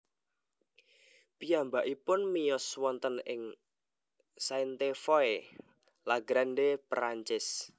Piyambakipun miyos wonten ing Sainte Foy la Grande Perancis